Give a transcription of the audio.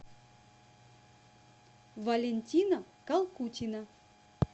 валентина калкутина